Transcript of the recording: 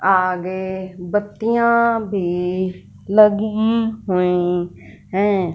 आगे बत्तियां भी लगी हुई हैं।